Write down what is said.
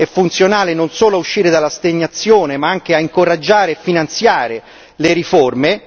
È funzionale non solo uscire dalla rassegnazione ma anche a incoraggiare e finanziare le riforme.